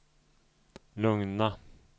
lugna